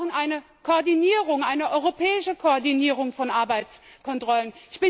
Wir brauchen eine Koordinierung, eine europäische Koordinierung von Arbeitskontrollen.